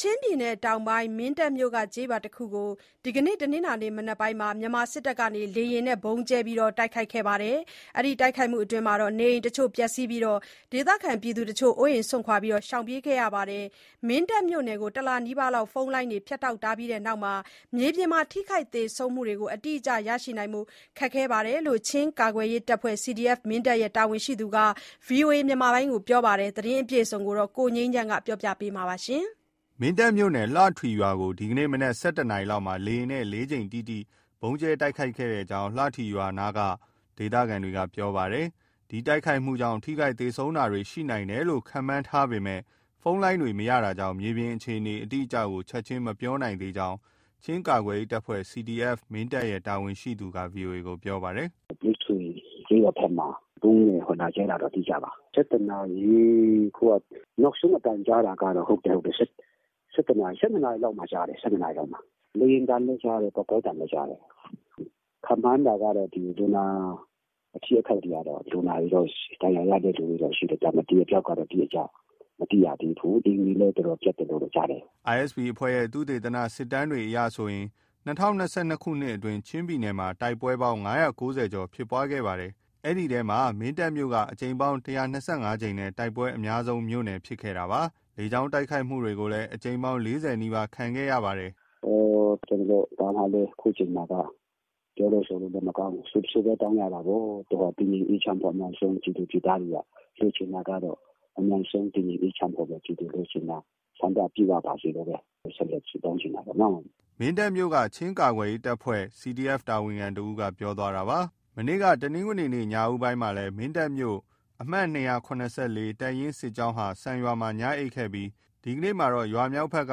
ချင်းပြည်နယ်တောင်ပိုင်း မင်းတပ်မြို့က ကျေးရွာတခုကို ဒီနေ့ တနင်္လာနေ့ မနက်ပိုင်းမှာ မြန်မာစစ်တပ်က လေယာဉ်နဲ့ ဗုံးကြဲတိုက်ခိုက်ခဲ့တဲ့အတွက် နေအိမ်တချို့ ပျက်စီးသွားပြီး ဒေသခံတချို့အိုးအိမ်စွန့်ခွာရှောင်ပြေးကြရပါတယ်။ မင်းတပ်မြို့နယ်ကို တလနီးပါးလောက် ဖုန်းလိုင်းတွေ ဖြတ်တောက်ထားတဲ့အတွက် မြေပြင်မှာ ထိခိုက်သေဆုံးမှုတွေ အတိအကျရရှိဖို့ ခက်ခဲနေတယ်လို့ ချင်းကာကွယ်ရေးတပ်ဖွဲ့ CDF မင်းတပ်ရဲ့ တာဝန်ရှိသူက ပြောပါတယ်။ ဒီသတင်းပေးပို့ချက်ကိုတော့ ကိုငြိမ်းချမ်းက ပြောပြပေးမှာပါ။ မင်းတပ်မြိုနယ်၊ လှထွီကျေးရွာကို ဒီနေ့မနက် ၁၁ နာရီလောက်မှာ လေယာဉ်နဲ့ လေးကြိမ်တိတိ ဗုံးကြဲတိုက်ခိုက်ခဲ့ကြောင်း လှထွီကျေးရွာ အနီးနားက ဒေသခံတွေက ပြောပါတယ်။ ဒီတိုက်ခိုက်မှုကြောင့် ထိခိုက်၊ သေဆုံးတာတွေ ရှိနိုင်တယ်လို့ ခန့်မှန်းထားပေမဲ့ ဖုန်းလိုင်းတွေမရတာကြောင့် မြေပြင်အခြေအနေ အတိအကျကို ချက်ချင်း မပြောပြနိုင်သေးကြောင်း ချင်းကာကွယ်ရေးတပ်ဖွဲ့ CDF မင်းတပ်ရဲ့ တာဝန်ရှိသူက ဗွီအိုအေကို ပြောပါတယ်။ " လှထွီကျေးရွာဘက်မှာ ဗုံးကိုလာကြဲတာ အတိအကျပါ၊ ၁၁နာရီ... အခုက နောက်ဆုံး အသံကြားတာကတော့ ၁၂နာရီလောက်မှာ ကြားတယ်။ လေယာဉ်သံလည်း ကြားတယ်၊ ပေါက်ကွဲသံလည်း ကြားတယ်။ ခန့်မှန်းတာကတော့ အထိအခိုက်တွေ၊ လူနာ ဒဏ်ရာရတဲ့သူတွေတော့ ရှိတယ်၊ ဒါပေမဲ့ အသေအပျောက်ကတော့ အတိအကျ မသိရသေးဘူး။ အိမ်တွေလည်း တော်တော်ပျက်တယ်လို့ ကြားတယ်။" ISP အဖွဲ့ရဲ့ သုတေသန စစ်တမ်းအရဆိုရင် ၂၀၂၂ အတွင်း ချင်းပြည်နယ်ထဲမှာ တိုက်ပွဲပေါင်း ၅၉၀ကျော် ဖြစ်ပွားခဲ့တာပါ။ အဲဒီအထဲမှာ မင်းတပ်မြို့က အကြိမ်ပေါင်း ၁၂၅ကြိမ်နဲ့ တိုက်ပွဲအများဆုံးမြို့နယ် ဖြစ်ခဲ့တာပါ။ လေကြောင်း တိုက်ခိုက်မှုကိုလည်း အကြိမ်ပေါင်း ၄၀နီးပါး ခံခဲ့ရတာ ဖြစ်ပါတယ်။ " ကျနော်တို့ ဘာမှလည်း အခုအချိန်မှာက ပြောလို့ဆိုလို့လည်း မကောင်း၊ ဆုပဲတောင်းရတာပေါ့။ တည်ငြိမ်အေးချမ်း တိုင်းသူပြည်သားတွေက လိုချင်တာကတော့ အမြန်ဆုံး တည်ငြိမ်အေးချမ်းဖို့ပဲ ဖြစ်တယ်။ ဆန္ဒပြည့်ဝပါစေလို့ပဲ ဆက်လက် ဆုတောင်းချင်တာပေါ့နော်။" မင်းတပ်မြို့က ချင်းကာကွယ်ရေးတပ်ဖွဲ့ CDFတာဝန်ခံတဦး ပြောသွားတာပါ။ မနေ့က တနင်္ဂနွေနေ့ ညဦးပိုင်းမှာ မင်းတပ်မြို့ ၂၇၄ တပ်ရင်း စစ်ကြောင်းဟာ စံရွာမှာ ညအိပ်ခဲ့ကြပြီး ဒီနေ့မှာတော့ ရွာမြောက်ဘက်က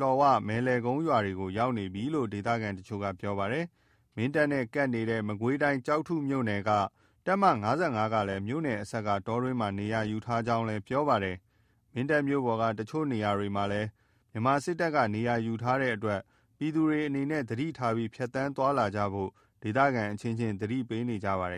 လှော်ဝ၊ မယ်လယ်ကုန်း ရွာတွေကို ရောက်နေကြပြီလို့ ဒေသခံတချို့က ပြောပါတယ်။ မင်းတပ်နဲ့ကပ်နေတဲ့ မကွေးတိုင်း၊ ကျောက်ထုမြို့နယ် တပ်မ ၅၅ ကလည်း မြို့နယ်အစပ်က တောတွင်းမှာ နေရာယူထားကြောင်းလည်း ပြောပါတယ်။ မင်းတပ်မြို့ပေါ်က တချို့ နေရာတွေမှာလည်း မြန်မာစစ်တပ်က နေရာယူထားတဲ့အတွက် ပြည်သူတွေအနေနဲ့ သတိထားပြီး ဖြတ်သန်းသွားလာကြဖို့ ဒေသခံအချင်းချင်းကြားမှာ သတိပေးနေကြပါတယ်